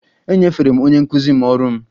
Ee, enyefere m onye nkụzi m ọrụ m